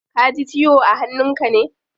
Kaji ciwo a hannun ka ne?